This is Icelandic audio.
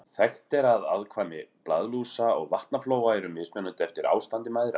Þekkt er að afkvæmi blaðlúsa og vatnaflóa eru mismunandi eftir ástandi mæðra.